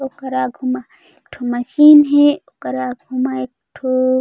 ओकर आगू मा एक ठो मशीन हे ओकर आगू मा एक ठो--